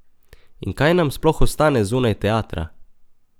In kaj nam sploh ostane zunaj teatra?